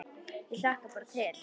Ég hlakka bara til.